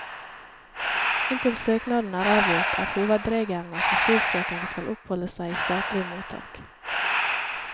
Inntil søknaden er avgjort, er hovedregelen at asylsøkerne skal oppholde seg i statlige mottak.